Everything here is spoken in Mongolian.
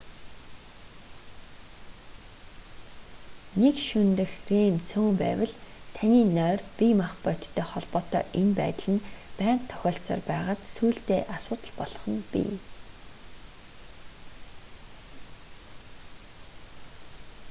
нэг шөнө дэх рем цөөн байвал таны нойр бие махбодтой холбоотой энэ байдал нь байнга тохиолдсоор байгаад сүүлдээ асуудал болох нь бий